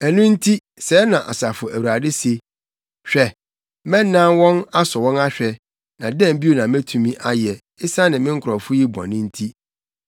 Ɛno nti, sɛɛ na Asafo Awurade se, “Hwɛ, mɛnan wɔn asɔ wɔn ahwɛ, na dɛn bio na metumi ayɛ esiane me nkurɔfo yi bɔne nti?